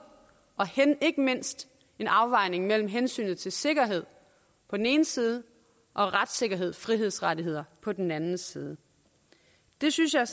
og ikke mindst en afvejning af hensynet til sikkerhed på den ene side og retssikkerhed og frihedsrettigheder på den anden side det synes jeg